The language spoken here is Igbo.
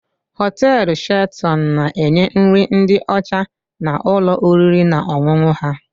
Hoteelu Shelton na-enye nri ndị ọcha na ụlọ oriri na ọṅụṅụ ha.